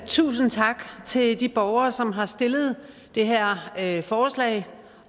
tusind tak til de borgere som har stillet det her her forslag